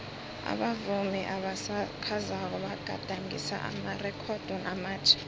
abavumi abasakhasako bagadangise amarekhodo amatjha